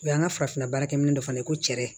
O y'an ka farafin baarakɛminɛ dɔ fana ye ko cɛrɛ